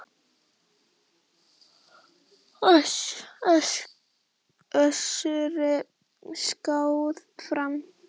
Össuri skákað fram.